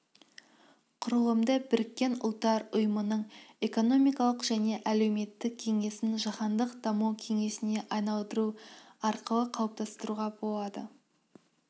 құрылымды біріккен ұлттар ұйымының экономикалық және әлеуметтік кеңесін жаһандық даму кеңесіне айналдыру арқылы қалыптастыруға болады